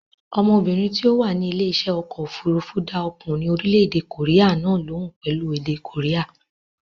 Ọmọbìnrin tí ó wà ní ilé iṣẹ́ ọkọ̀ òfurufú dá ọkùnrin orílẹ̀-èdè kòréà náà lóhùn pẹ̀lú èdè kòréà.